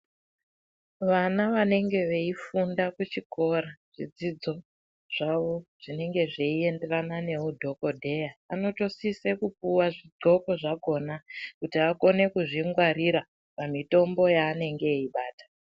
Vana vanenge veifunda kuzvikora zvidzidzo zvawo zvinenge zveienderana meudhokodheya anotosise kupuwa zvidxoko zvakona kuti akone kuzvingwarira pamitombo yanenge eibata.